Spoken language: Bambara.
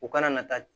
U kana na taa